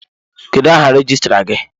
Kedụ áhà rejistra gị?